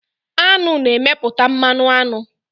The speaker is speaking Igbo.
Aṅụ na-emepụta mmanụ aṅụ.